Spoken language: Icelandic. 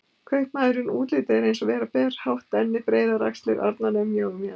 Kaupmaðurinn: útlitið er eins og vera ber, hátt enni, breiðar axlir, arnarnef, mjóar mjaðmir.